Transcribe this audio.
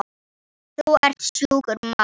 Þú ert sjúkur maður.